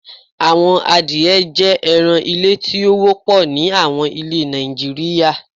Awọn àdìẹ̀ jẹ́ ẹ̀ràn ilẹ̀ tí o wọ̀pọ̀ ní awọn ilẹ̀ Nàìjíríà